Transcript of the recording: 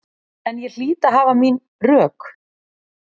En ég hlýt að hafa mín rök.